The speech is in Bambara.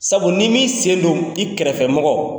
Sabu ni min sen don i kɛrɛfɛ mɔgɔ